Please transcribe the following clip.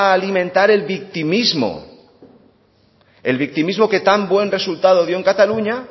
a inventar el victimismo el victimismo que tan buen resultado dio en cataluña